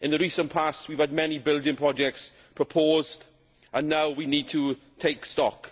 In the recent past we have had many building projects proposed and now we need to take stock.